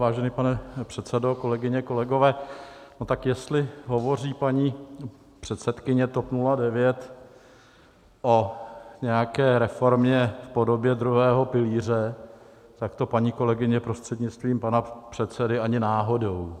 Vážený pane předsedo, kolegyně, kolegové, no tak jestli hovoří paní předsedkyně TOP 09 o nějaké reformě v podobě druhého pilíře, tak to, paní kolegyně, prostřednictvím pana předsedy, ani náhodou.